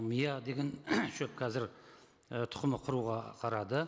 мия деген шөп қазір і тұқымы құруға қарады